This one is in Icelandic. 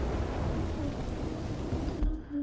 Bergljót, hvað heitir þú fullu nafni?